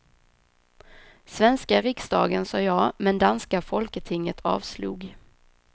Svenska riksdagen sa ja, men danska folketinget avslog.